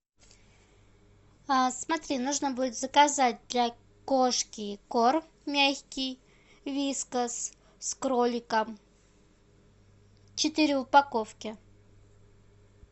смотри нужно будет заказать для кошки корм мягкий вискас с кроликом четыре упаковки